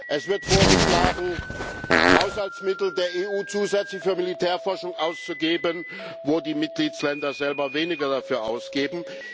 Es wird vorgeschlagen, Haushaltsmittel der EU zusätzlich für Militärforschung ausgegeben, während die Mitgliedstaaten selber weniger dafür ausgeben.